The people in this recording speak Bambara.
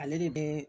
Ale de bɛ